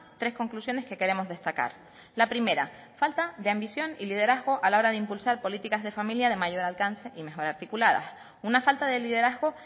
tres conclusiones que queremos destacar la primera falta de ambición y liderazgo a la hora de impulsar políticas de familia de mayor alcance y mejor articuladas una falta de liderazgo